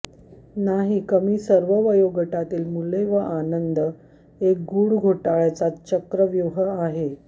नाही कमी सर्व वयोगटातील मुले व आनंद एक गुढ घोटाळ्याचा चक्रव्यूह आहे